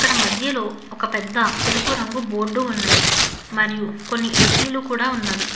అక్కడ మధ్యలో ఒక పెద్ద తెలుపు రంగు బోర్డు ఉన్నది మరియు కొన్ని ఏ_సి లు కూడా ఉన్నవి.